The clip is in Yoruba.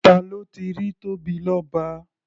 Ta ló ti rí Tóbilọ́ba?